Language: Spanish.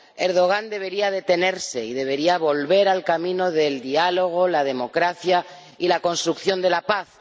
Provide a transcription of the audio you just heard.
El Presidente Erdogan debería detenerse y debería volver al camino del diálogo, la democracia y la construcción de la paz.